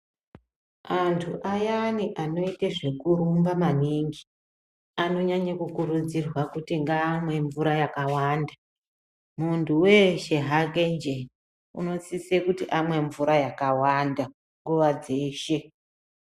Antu ayani anoite zvekurumba maningi ano nyanye ku kurudzirwa kuti ngamwe mvura yakawanda muntu weshe hake nje unosise kuti amwe mvura yakawanda nguva dzeshe.